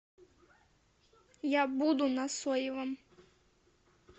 я буду на соевом